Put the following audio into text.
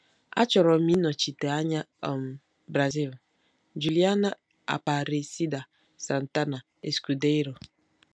Achọrọ m ịnọchite anya um Brazil. - Juliana Aparecida Santana Escudeiro